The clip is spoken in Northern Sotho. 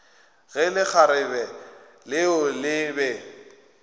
ge lekgarebe leo le be